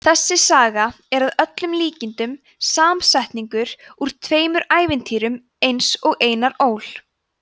þessi saga er að líkindum samsetningur úr tveimur ævintýrum eins og einar ól